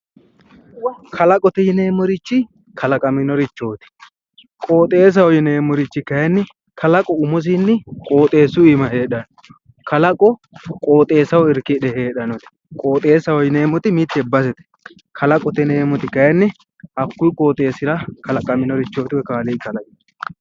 Kalaqote yineemo richi kalaqaminorichooti qooxesaho yineemohu kayinni kalaqu umisinni qooxesu aana heeranno kalaqu qooxesaho irikkidhe heedhanoteet qooxesaho yineemoti mitte basete kalaqoho yineemoti kayinni hakkuyi qooxesira kalaqaminorichooti kaaliqi kalaqeworeet